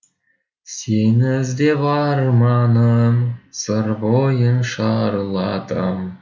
сені іздеп арманым сыр бойын шарладым